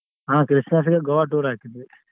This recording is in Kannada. ಹಾ Christmas ಇಗ್ Goa tour ಹಾಕಿದ್ವಿ.